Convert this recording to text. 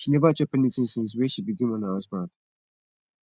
she neva chop anytin since wey she begin mourn her husband